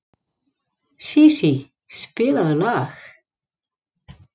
Sísí, spilaðu lag.